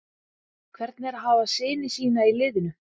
Hvernig er að hafa syni sína í liðinu?